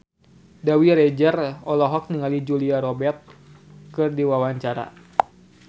Dewi Rezer olohok ningali Julia Robert keur diwawancara